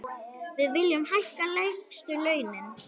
Við viljum hækka lægstu launin.